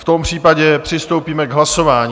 V tom případě přistoupíme k hlasování.